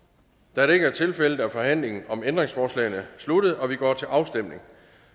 da det ikke er tilfældet er forhandlingen om ændringsforslagene sluttet og vi går til afstemning